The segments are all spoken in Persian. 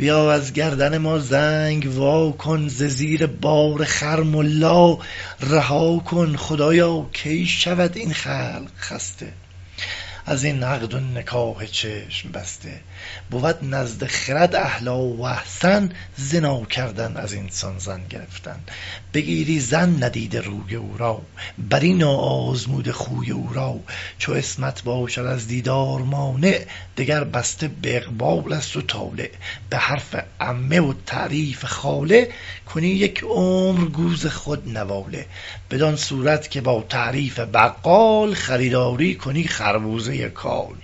خدایا کی شود این خلق خسته از این عقد و نکاح چشم بسته بود نزد خرد احلی و احسن زنا کردن از این سان زن گرفتن بگیری زن ندیده روی او را بری نا آزموده خوی او را چو عصمت باشد از دیدار مانع دگر بسته به اقبال است و طالع به حرف عمه و تعریف خاله کنی یک عمر گوز خود نواله بدان صورت که با تعریف بقال خریداری کنی خربوزۀ کال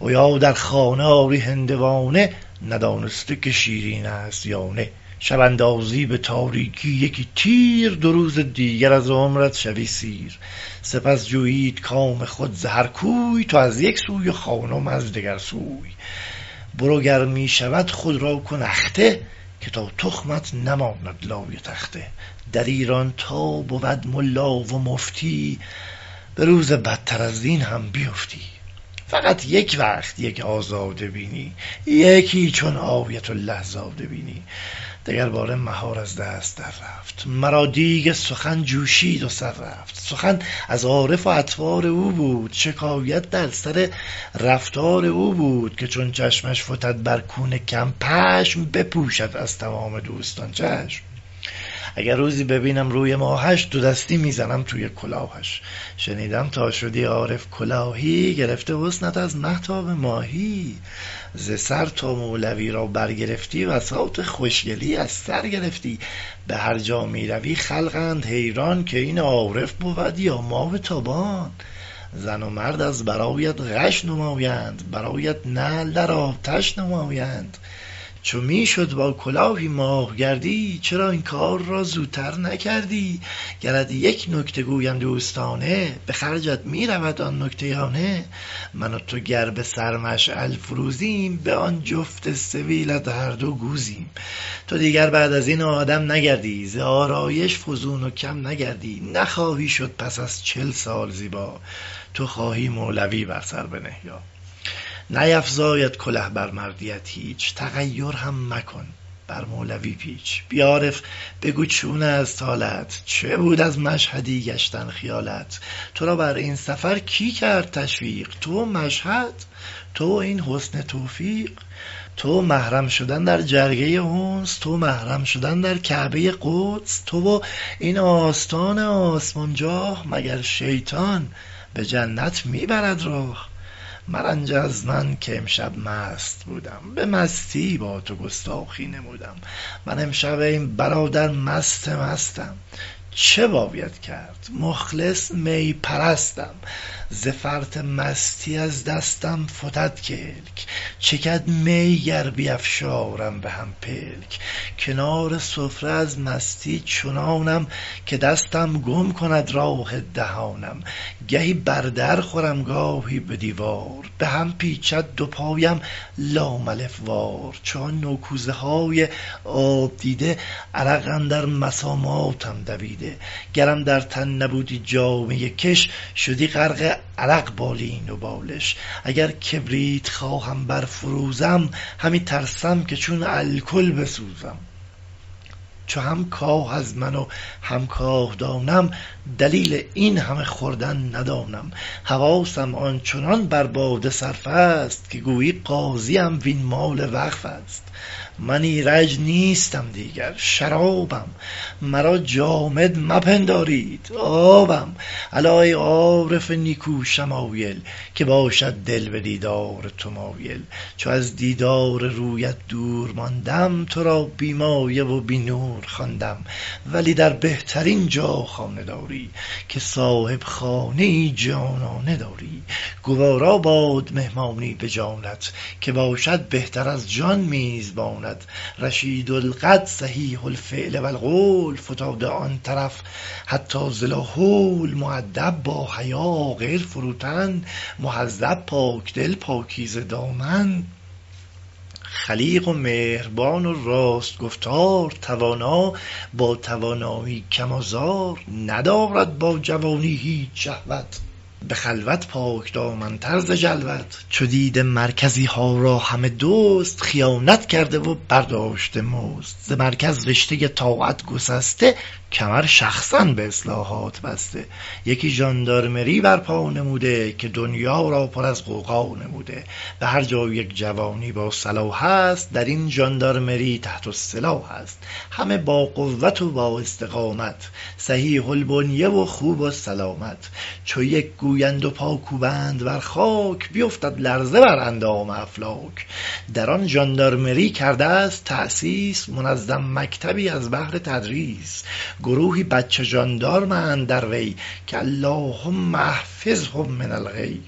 و یا در خانه آری هندوانه ندانسته که شیرین است یا نه شب اندازی به تاریکی یکی تیر دو روز دیگر از عمرت شوی سیر سپس جویید کام خود ز هر کوی تو از یک سوی و خانم از دگر سوی نخواهی جست چون آهو از این بند که مغز خر خوراکت بوده یک چند برو گر می شود خود را کن اخته که تا تخمت نماند لای تخته در ایران تا بود ملا و مفتی به روز بدتر از این هم بیفتی فقط یک وقت یک آزاده بینی یکی چون آیت الله زاده بینی دگر باره مهار از دست در رفت مرا دیگ سخن جوشید و سر رفت سخن از عارف و اطوار او بود شکایت در سر رفتار او بود که چون چشمش فتد بر کون کم پشم بپوشد از تمام دوستان چشم اگر روزی ببینم روی ماهش دو دستی می زنم توی کلاهش شنیدم تا شدی عارف کلاهی گرفته حسنت از مه تا به ماهی ز سر تا مولوی را بر گرفتی بساط خوشگلی از سر گرفتی به هر جا می روی خلقند حیران که این عارف بود یا ماه تابان زن و مرد از برایت غش نمایند برایت نعل در آتش نمایند چو می شد با کلاهی ماه گردی چرا این کار را زوتر نکردی گرت یک نکته گویم دوستانه به خرجت می رود آن نکته یا نه من و تو گر به سر مشعل فروزیم به آن جفت سبیلت هر دو گوزیم تو دیگر بعد از این آدم نگردی ز آرایش فزون و کم نگردی نخواهی شد پس از چل سال زیبا تو خواهی مولوی بر سر بنه یا نیفزاید کله بر مردیت هیچ تغیر هم مکن بر مولوی پیچ بیا عارف بگو چون است حالت چه بود از مشهدی گشتن خیالت ترا بر این سفر کی کرد تشویق تو و مشهد تو و این حسن توفیق تو و محرم شدن در خرگه انس تو و محرم شدن در کعبۀ قدس تو و این آستان آسمان جاه مگر شیطان به جنت می برد راه مرنج از من که امشب مست بودم به مستی با تو گستاخی نمودم من امشب ای برادر مست مستم چه باید کرد مخلص می پرستم ز فرط مستی از دستم فتد کلک چکد می گر بیفشارم به هم پلک کنار سفره از مستی چنانم که دستم گم کند راه دهانم گهی بر در خورم گاهی به دیوار به هم پیچید دو پایم لام الف وار چو آن نو کوزه های آب دیده عرق اندر مساماتم دویده گرم در تن نبودی جامۀ کش شدی غرق عرق بالین و بالش اگر کبریت خواهم بر فروزم همی ترسم که چون الکل بسوزم چو هم کاه از من و هم کاه دانم دلیل این همه خوردن ندانم حواسم همچنان بر باده صرفست که گویی قاضیم وین مال وقفست من ایرج نیستم دیگر شرابم مرا جامد مپندارید آبم الا ای عارف نیکو شمایل که باشد دل به دیدار تو مایل چو از دیدار رویت دور ماندم ترا بی مایه و بی نور خواندم ولی در بهترین جا خانه داری که صاحب خانه ای جانانه داری گوارا باد مهمانی به جانت که باشد بهتر از جان میزبانت رشید القد صحیح الفعل و القول فتاده آن طرف حتی ز لاحول مودب با حیا عاقل فروتن مهذب پاک دل پاکیزه دیدن خلیق و مهربان و راست گفتار توانا با توانایی کم آزار ندارد با جوانی هیچ شهوت به خلوت پاک دامن تر ز جلوت چو دیده مرکزی ها را همه دزد خیانت کرده و برداشته مزد ز مرکز رشتۀ طاعت گسسته کمر شخصا به اصلاحات بسته یکی ژاندارمری بر پا نموده که دنیا را پر از غوغا نموده به هر جا یک جوانی با صلاحست در این ژاندارمری تحت السلاحست همه با قوت و با استقامت صحیح البنیه و خوب و سلامت چو یک گویند و پا کوبند بر خاک بیفتد لرزه بر اندام افلاک در آن ژاندارمری کردست تأسیس منظم مکتبی از بهر تدریس گروهی بچه ژاندارمند در وی که اللهم احفظهم من الغی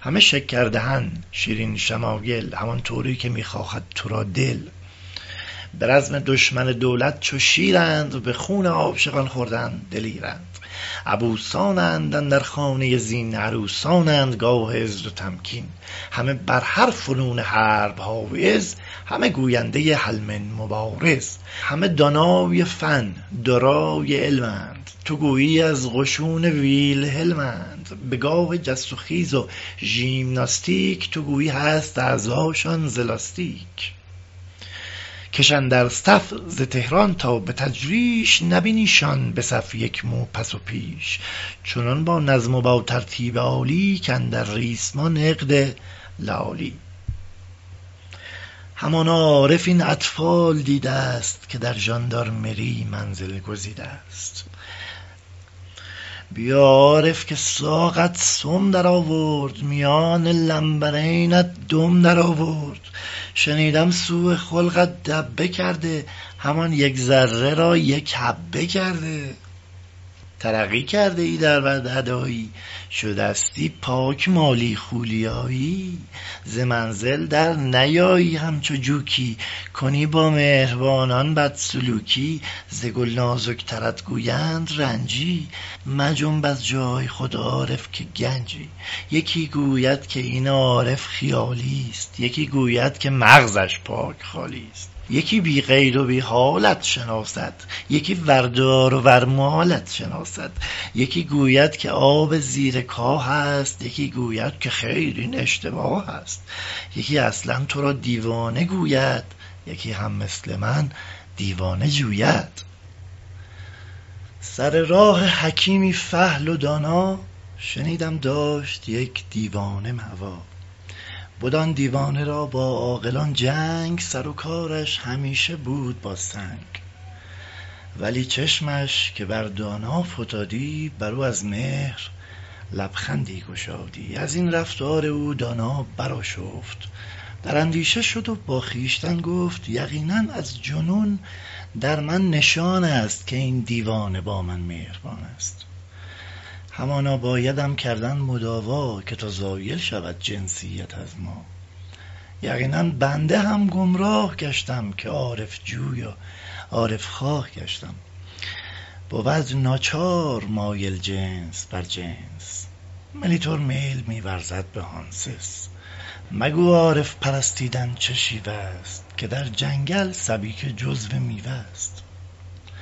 همه شکر دهن شیرین شمایل همانطوری که می خواهد تو را دل به رزم دشمن دولت چو شیرند به خون عاشقان خوردن دلیرند عبوسانند اندر خانۀ زین عروسانند گاه عز و تمکین همه بر هر فنون حرب حایز همه گوینده هل من مبارز همه دانای فن دارای علمند تو گویی از قشون ویلهلمند به گاه جست و خیز و ژیمناستیک تو گویی هست اعضاشان ز لاستیک کشند ار صف ز طهران تا به تجریش نبینی شان به صف یک مو پس و پیش چنان با نظم و با ترتیب عالی که اندر ریسمان عقد لآلی همانا عارف این اطفال دیدست که در ژاندارمری منزل گزیدست بیا عارف که ساقت سم در آرد میان لنبرینت دم در آرد شنیدم سوء خلقت دبه کرده همان یک ذره را یک حبه کرده ترقی کرده ای در بد ادایی شدستی پاک مالیخولیایی ز منزل در نیایی همچو جوکی کنی با مهربانان بد سلوکی ز گل نازک ترت گویند و رنجی مجنب از جای خود عارف که گنجی یکی گوید که این عارف خیالیست یکی گوید که مغزش پاک خالیست یکی بی قید و بی حالت شناسد یکی وردار و ورمالت شناسد یکی گوید که آب زیر کاهست یکی گوید که خیر این اشتباهست یکی اصلا ترا دیوانه گوید یکی هم مثل من دیوانه جوید سر راه حکیمی فحل و دانا شنیدم داشت یک دیوانه ماوا بد آن دیوانه را با عاقلان جنگ سر و کارش همیشه بود با سنگ ولی چشمش که بر دانا فتادی بر او از مهر لبخندی گشادی از این رفتار او دانا برآشفت در این اندیشه شد و با خویشتن گفت یقینا از جنون در من نشانست که این دیوانه با من مهربانست همانا بایدم کردن مداوا که تا زایل شود جنسیت از ما یقینا بنده هم گمراه گشتم که عارف جوی و عارف خواه گشتم بود ناچار میل جنس بر جنس مولیتر میل می ورزد به هنسنس مگو عارف پرستیدن چه شیوست که در جنگل سبیکه جزء میوه ست